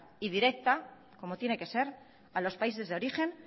y directa como tiene que ser a los países de origen